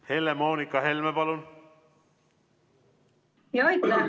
Helle-Moonika Helme, palun!